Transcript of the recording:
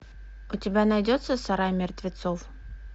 у тебя найдется сарай мертвецов